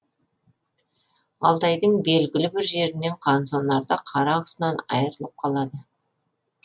алтайдың белгілі бір жерінен қансонарда қара құсынан айырылып қалады